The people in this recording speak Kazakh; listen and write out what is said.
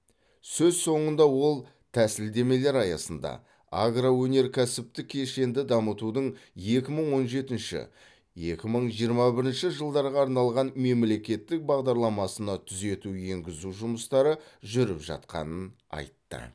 сөз соңында ол тәсілдемелер аясында агроөнеркәсіптік кешенді дамытудың екі мың он жетінші екі мың жиырма бірінші жылдарға арналған мемлекеттік бағдарламасына түзету енгізу жұмыстары жүріп жатқанын айтты